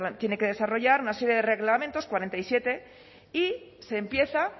tiene que desarrollar una serie de reglamentos cuarenta y siete y se empieza